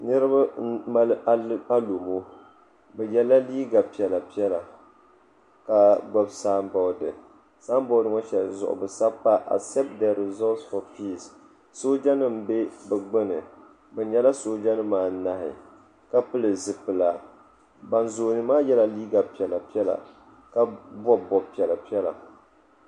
Niriba m mali alomo bɛ yela liiga piɛla piɛla ka gbibi samboori samboori ŋɔ zuɣu bɛ sabi pa asepti de rizoosi fo piisi sooja nima be bɛ gbini bɛ nyɛla sooja nima anahi ka pili zipila ban zooni maa yrla liiga piɛla piɛla ka bobi bob'piɛla piɛla.